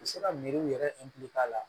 U bɛ se ka miiriw yɛrɛ la